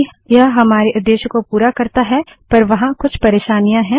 हालाँकि यह हमारे उद्देश्य को पूरा करता है पर वहाँ कुछ परेशानियाँ हैं